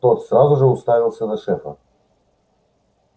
тот сразу же уставился на шефа